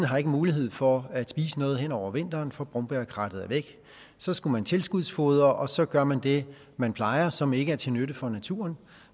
har mulighed for at spise noget hen over vinteren for brombærkrattet er væk så skal man tilskudsfodre og så gør man det man plejer og som ikke er til nytte for naturen